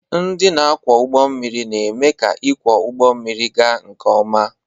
Ndị na-akwọ ụgbọ mmiri na-eme ka ịkwọ ụgbọ mmiri ga nke ọma.